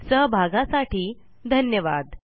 सहभागासाठी धन्यवाद